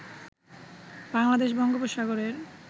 বাংলাদেশ বঙ্গোপসাগরের